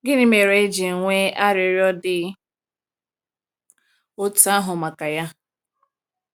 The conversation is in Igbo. Gịnị mere e ji nwee arịrịọ dị otú ahụ maka ya?